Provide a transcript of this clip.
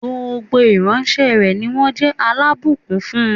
Gbogbo ìran rẹ̀ ni wón jé alábùkún fún